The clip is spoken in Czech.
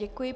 Děkuji.